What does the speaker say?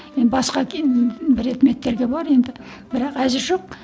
енді басқа и предметтерге бар енді бірақ әзір жоқ